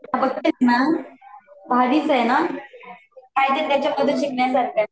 बघतेस न, भारीच आहे न काहीतरी त्याच्यामधून शिकण्यासारख आहे